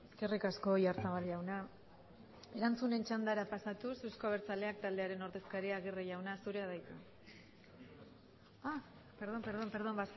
eskerrik asko oyarzabal jauna erantzunen txandara pasatuz eusko abertzaleak taldearen ordezkaria aguirre jauna zurea da hitza perdón perdón